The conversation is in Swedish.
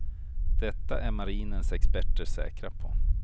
Detta är marinens experter säkra på.